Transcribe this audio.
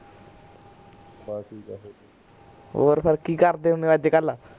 ਹੋਰ ਫੇਰ ਕਿ ਕਰਦੇ ਹੁਣੇ ਓ ਅੱਜਕਲ